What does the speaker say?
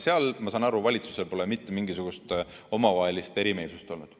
Seal, ma saan aru, pole valitsusel mitte mingisugust omavahelist erimeelsust olnud.